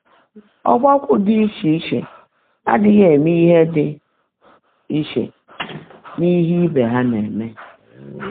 Ọ́gbákwọ́ ḍị́ íchè íche ádị́ghị́ émé íhe ḍị́ íchè n’íhe íbè há ná-èmé.